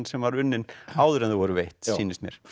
sem var unnin áður en þau voru veitt sýnist mér